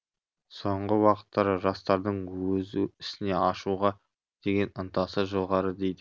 соңғы уақыттары жастардың өзі ісіне ашуға деген ынтасы жоғары дейді